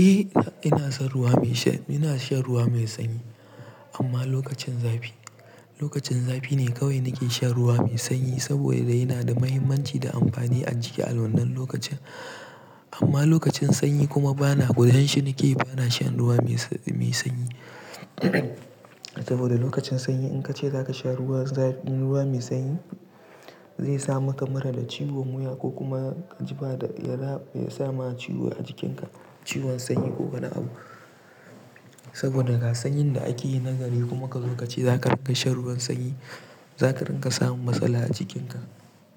Eh, ina shan ruwa mai sanyi amma lokacin zafi. Lokacin zafi ne kawai nake shan ruwa mai sanyi saboda yana da muhimmanci da amfani a jiki a wannan lokacin. Amma lokacin sanyi kuma bana gujen shi nake bana shan ruwa mai sanyi. Saboda lokacin sanyi in ka ce za ka sha ruwa mai sanyi zai sa maka mura da ciwon wuya ko kuma ya sa ma ciwo a jikinka, ciwon sanyi ko wani abu. Saboda ga sanyin da ake yi na gari kuma ka zo ka ce za ka riga shan ruwan sanyi, za ka ringa samun matsala a jikinka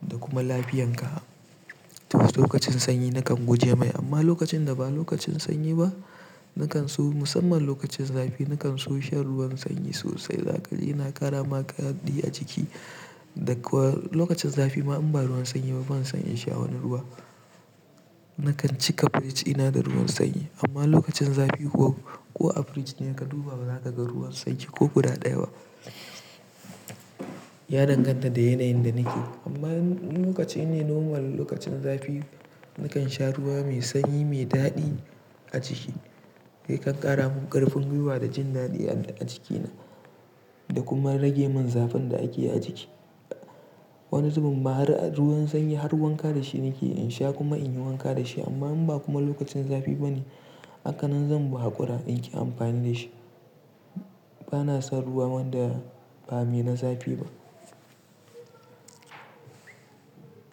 da kuma lafiyanka. To lokacin sanyi nakan guje mai amma lokacin da ba lokacin sanyi ba nakan so musamman lokacin zafi nakan so shan ruwan sanyi sosai. Yana ƙara ma ka daɗi a jiki. Da kuwa lokacin zafi ma in ba ruwan sanyi ba bana son in sha wani ruwa. Nakan cika fridge ina da ruwan sanyi amma lokacin zafi ko a fridge ne ka duba ba za ka ga ruwan sanyi ko guda ɗaya. Ya danganta da yanayin da nake. Amma lokaci ne normal lokacin zafi nakan sha ruwa mai sanyi mai daɗi a jiki. Yakan ƙara mun ƙarfin guiwa da jin daɗi a jikina da kuma rage mun zafin da ake a jiki. Wani zubin ma har ruwan sanyi har wanka da shi nake in sha kuma in yi wanka da shi amma in ba kuma lokacin zafi ba ne aka nan zan buƙa ƙura in yi amfani da shi. Bana son ruwa man da ba mai na zafi ba.